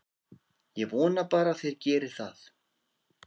Ég vona bara að þeir geri það.